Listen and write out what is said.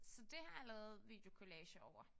Så det har jeg lavet videokollager over